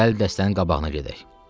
Gəl dəstənin qabağına gedək.